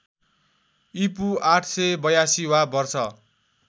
ईपू ८८२ वा वर्ष